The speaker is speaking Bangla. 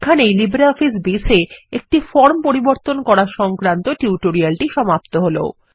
এখানেই লিব্রিঅফিস বেজ এ একটি ফরম পরিবর্তন করা সংক্রান্ত টিউটোরিয়ালটি সমাপ্ত হল